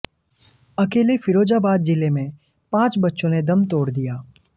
अकेले फिरोजाबाद जिले में पांच बच्चों ने दम तोड़ दिया